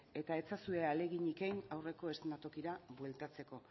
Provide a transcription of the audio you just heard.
eta ez ezazue ahaleginik egin aurreko eszenatokira bueltatzeko